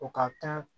O ka kan